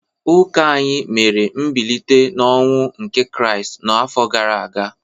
Ụka anyị mere mbilite n’ọnwụ nke Kraịst n’afọ gara aga.